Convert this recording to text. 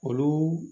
Olu